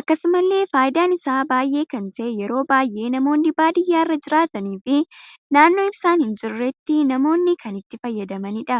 Akkasumallee faayidaan isaa baay'ee kan ta'e yeroo baay'ee namoonni badiyyaarra jiraatani fi naannoon ibsaan hin jirreetti namoonni kan itti fayyadamanidha.